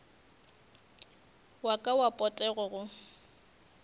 wa ka wa potego go